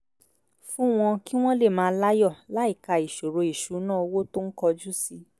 fún wọn kí wọ́n lè máa láyọ̀ láìka ìṣòro ìṣúnná owó tó ń kojú sí